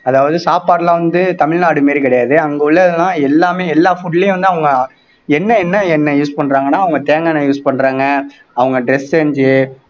அதாவது சாப்பாடுலாம் வந்து தமிழ்நாடு மாதிரி கிடையாது அங்க உள்ளதெல்லாம் எல்லாமே எல்லா food லயும் வந்து அவங்க என்ன எண்ணெய் use பண்றாங்கன்னா அவங்க தேங்காய் எண்ணெய் use பண்றாங்க அவங்க dress change